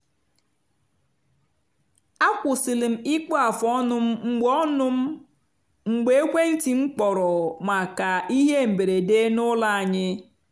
akwụsịlị m ịkpụ afụ ọnụ m mgbe ọnụ m mgbe ekwenti m kpọrọ maka ihe mberede n’ụlọ anyị